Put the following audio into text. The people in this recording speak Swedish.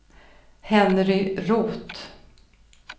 Henry Roth